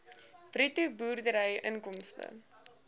bruto boerdery inkomste